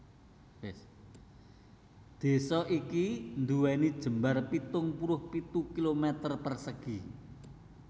Désa iki nduwèni jembar pitung puluh pitu kilometer persegi